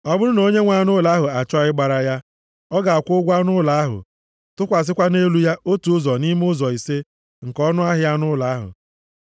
Ọ bụrụ na onye nwe anụ ụlọ ahụ achọọ ịgbara ya, ọ ga-akwụ ụgwọ anụ ụlọ ahụ, tụkwasịkwa nʼelu ya otu ụzọ nʼime ụzọ ise nke ọnụahịa anụ ụlọ ahụ.